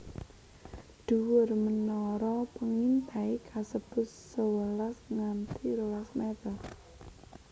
Dhuwur menara pengintai kasebut sewelas nganti rolas meter